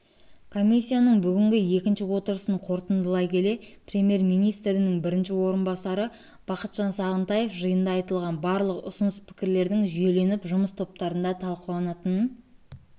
комиссияның бүгінгі екінші отырысын қорытындылай келе премьер-министрінің бірінші орынбасары бақытжан сағынтаев жиында айтылған барлық ұсыныс-пікірлердің жүйеленіп жұмыс топтарында талқыланатынын